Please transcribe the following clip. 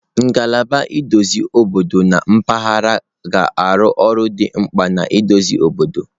Ngalaba nhazi obodo na mpaghara ga-arụ ọrụ dị mkpa na nhazi obodo.